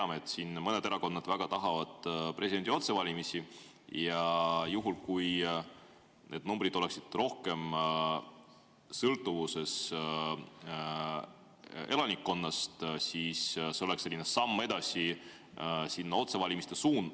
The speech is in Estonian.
Me teame, et mõni erakond väga tahab presidendi otsevalimisi, ja juhul, kui need numbrid oleksid rohkem sõltuvuses elanikkonnast, siis see olekski samm otsevalimiste suunas.